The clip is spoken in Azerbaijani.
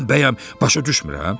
Mən bəyəm başa düşmürəm?